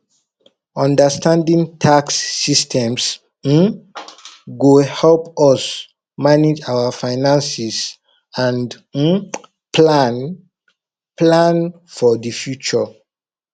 understanding tax systems um go help us manage our finances and um plan plan for the future